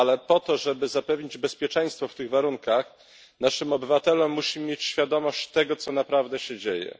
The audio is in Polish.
Ale po to, żeby zapewnić bezpieczeństwo w tych warunkach naszym obywatelom, musimy mieć świadomość tego, co naprawdę się dzieje.